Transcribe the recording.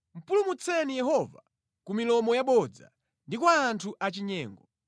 Pulumutseni Yehova ku milomo yabodza, ndi kwa anthu achinyengo.